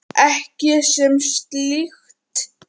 Ekki sem slíkt.